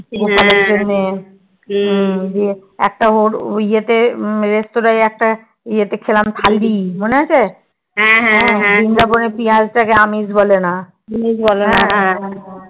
গোপালের জন্যে একটা একটা রেস্তোরায় একটা ইয়েতে খেলাম খৈরী মনে আছে বৃন্দাবন এ পিয়াজ টা কে আমিষ বলেনা